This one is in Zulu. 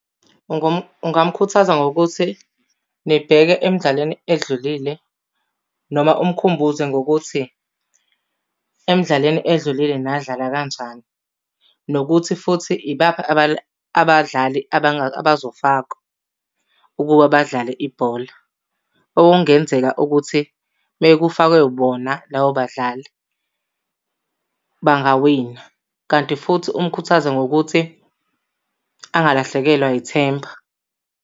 Ungamkhuthaza ngokuthi nibheke emdlalweni edlulile noma umkhumbuze ngokuthi emdlalweni edlulile nadlala kanjani. Nokuthi futhi ibaphi abadlali abazofakwa ukuba badlale ibhola. Okungenzeka ukuthi uma kufakwe bona labo badlali bangawina. Kanti futhi umkhuthaze ngokuthi angalahlekelwa yithemba.